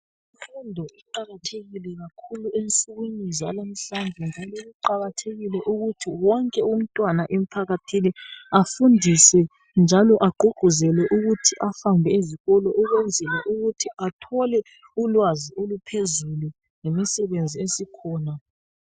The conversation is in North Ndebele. Imfundo iqakathekile kakhulu ensukwini zanamhlanje njalo kuqakathekile ukuthi wonke umntwana emphakathini afundiswe njalo agqugquzelwe ukuthi ahambe ezikolo ukwenzela ukuthi athole ulwazi oluphezulu ngemisebenzi esikhona.